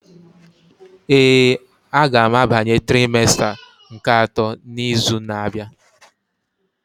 Ee, a ga m abanye trimesta nke atọ n'izu na-abịa.